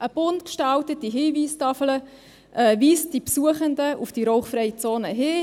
Eine bunt gestaltete Hinweistafel weist die Besuchenden auf die rauchfreie Zone hin.